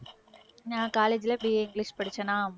நான் college ல BA English படிச்சேனா